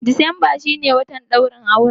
Decemba shi ne watan ɗaurin auren.